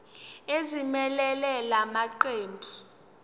ezimelele la maqembu